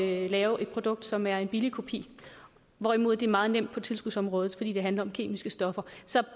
at lave et produkt som er en billig kopi hvorimod det er meget nemt på tilskudsområdet fordi det handler om kemiske stoffer så